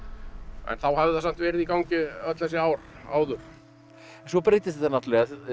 en þá hafði það samt verið í gangi öll þessi ár áður svo breytist þetta náttúrulega